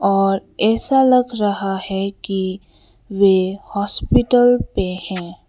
और ऐसा लग रहा है कि वे हॉस्पिटल पे हैं।